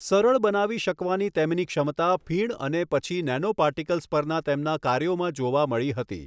સરળ બનાવી શકવાની તેમની ક્ષમતા ફીણ અને પછી નેનોપાર્ટિકલ્સ પરના તેમના કાર્યોમાં જોવા મળી હતી.